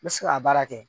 N bɛ se ka baara kɛ